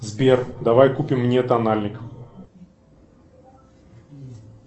сбер давай купим мне тональник